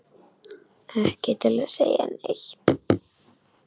Ekki til að segja neitt.